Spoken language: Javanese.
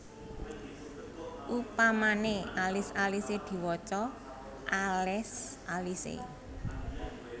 Upamane alis alise diwaca alés alise